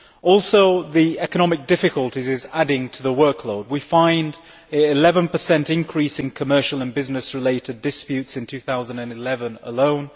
Also, the economic difficulties are adding to the workload. We find an 11 increase in commercial and business related disputes in 2011 alone.